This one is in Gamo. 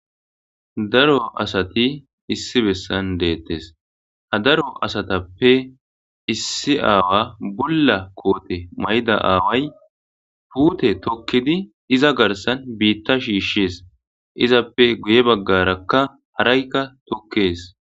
daro asati issi bessan deettes ha daro asatappe issi aawa bulla koote mayda aaway puute tokkidi iza garsan biitta shiishshes izappe guye baggarakka haraykka tokkees